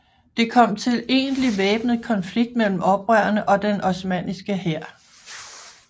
Det kom til egentlig væbnet konflikt mellem oprørerne og den osmanniske hær